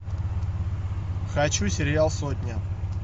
хочу сериал сотня